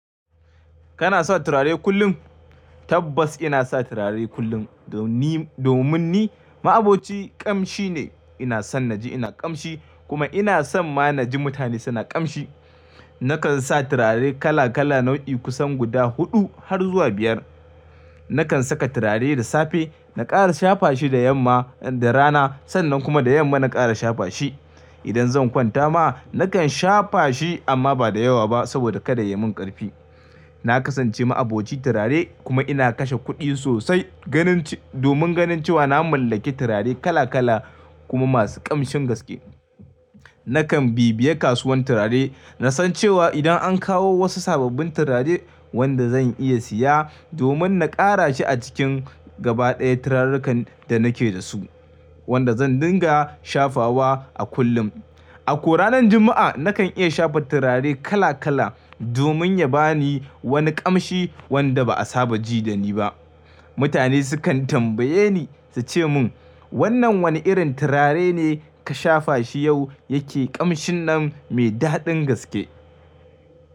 Kana sa turare kullum? Tabbas ina sa turare kullum. Ni domin ni, ma'aboci ƙamshi ne. Ina son naji ina ƙamshi kuma ina son ma naji mutane suna ƙamshi. Nakan sa turare kala kala nau'i kusan guda huɗu har zuwa biyar. Nakan saka turare da safe, na ƙara shafa shi da yamma, da rana sannan kuma da yamma na ƙara shafa shi. Idan zan kwanta ma, nakan shafa shi amma ba da yawa ba saboda kada ya yi min ƙarfi. Na kasance ma'aboci turare kuma ina kashe kuɗi sosai ganin domin ganin cewa na mallaki turare kala kala kuma masu ƙamshin gaske. Nakan bibiye kasuwan turare, na san cewa idan an kawo wasu sababbin turare wanda zan iya siya domin na ƙara shi a cikin gaba ɗaya turarenkan da nake da su, wanda zan dinga shafawa a kullum. A ko ranar Juma'a nakan iya shafa turare kala kala domin ya ba ni wani ƙamshi wanda ba a saba ji da ni ba. Mutane sukan tambaye ni su ce mun, wannan wane irin turare ne ka shafa shi yau yake ƙamshin nan mai daɗin gaske?